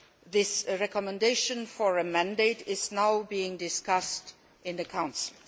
This recommendation for a mandate is now being discussed in the Council.